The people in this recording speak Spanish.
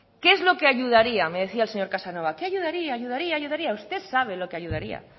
qué es lo que ayudaría me decía el señor casanova qué ayudaría ayudaría ayudaría usted sabe lo que ayudaría